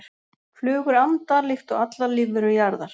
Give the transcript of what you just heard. flugur anda líkt og allar lífverur jarðar